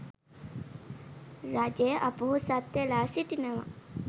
රජය අපොහොසත් වෙලා සිටිනවා